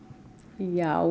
já